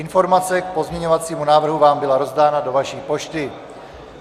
Informace k pozměňovacímu návrhu vám byla rozdána do vaší pošty.